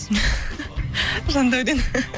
жандәурен